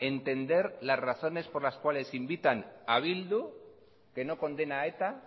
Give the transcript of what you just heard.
entender las razones por las cuales invitan a bildu que no condena a eta